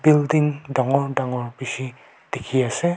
building dangor dangor bishi dikhiase.